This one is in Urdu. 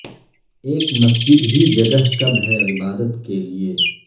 ایک مسجد ہی جگہ کب ہے عبادت کے لیئے